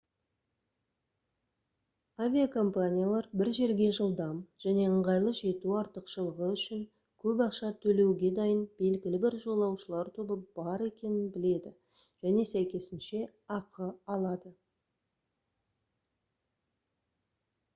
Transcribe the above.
авиакомпаниялар бір жерге жылдам және ыңғайлы жету артықшылығы үшін көп ақша төлеуге дайын белгілі бір жолаушылар тобы бар екенін біледі және сәйкесінше ақы алады